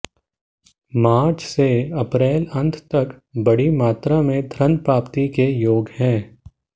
मार्च से अप्रैल अंत तक बड़ी मात्रा में धन प्राप्ति के योग हैं